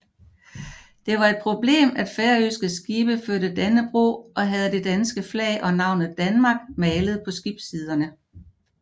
Det var et problem at færøske skibe førte Dannebrog og havde det danske flag og navnet DANMARK malet på skibssiderne